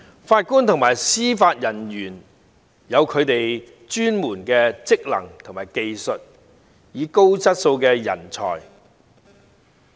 法官和司法人員有他們的專門職能和技術，是高質素的人才。